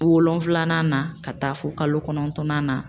Wolonfilanan na ka taa fo kalo kɔnɔntɔnnan na.